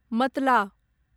मतला